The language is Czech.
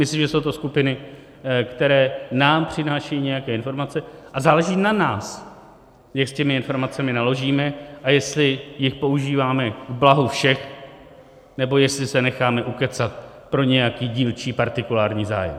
Myslím, že jsou to skupiny, které nám přinášejí nějaké informace, a záleží na nás, jak s těmi informacemi naložíme a jestli jich používáme k blahu všech, nebo jestli se necháme ukecat pro nějaký dílčí, partikulární zájem.